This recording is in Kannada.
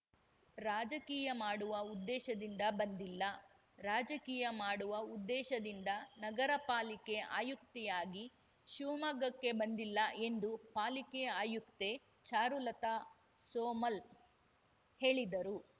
ರಾಜಕೀಯ ಮಾಡುವ ಉದ್ದೇಶದಿಂದ ಬಂದಿಲ್ಲ ರಾಜಕೀಯ ಮಾಡುವ ಉದ್ದೇಶದಿಂದ ನಗರ ಪಾಲಿಕೆ ಆಯುಕ್ತೆಯಾಗಿ ಶಿವಮೊಗ್ಗಕ್ಕೆ ಬಂದಿಲ್ಲ ಎಂದು ಪಾಲಿಕೆ ಆಯುಕ್ತೆ ಚಾರುಲತಾ ಸೋಮಲ್‌ ಹೇಳಿದರು